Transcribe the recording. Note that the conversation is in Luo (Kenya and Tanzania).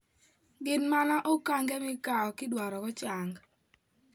Gin mana okange mikawo kidwarogo chang.